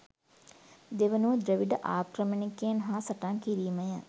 දෙවනුව ද්‍රවිඩ ආක්‍රමණිකයන් හා සටන් කිරීමය.